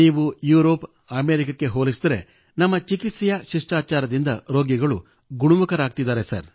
ನೀವು ಯುರೋಪ್ ಅಮೇರಿಕಕ್ಕೆ ಹೋಲಿಸಿದಲ್ಲಿ ನಮ್ಮ ಚಿಕಿತ್ಸಾ ಶಿಷ್ಠಾಚಾರದಿಂದ ರೋಗಿಗಳು ಗುಣಮುಖರಾಗುತ್ತಿದ್ದಾರೆ